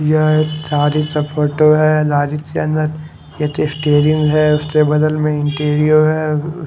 यह एक का लारेज फोटो हैं लारेज के अंदर ये स्टीयरिंग हैं उसके बगल में इंटेरियो हैं उ ब--